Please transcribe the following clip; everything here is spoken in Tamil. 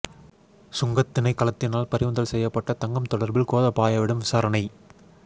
சுங்கத் திணைக்களத்தினால் பறிமுதல் செய்யப்பட்ட தங்கம் தொடர்பில் கோதபாயவிடம் விசாரணை